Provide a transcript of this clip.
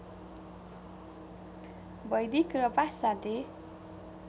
वैदिक र पाश्चात्य